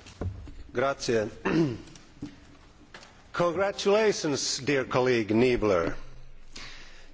Madam President, congratulations to my dear colleague Niebler.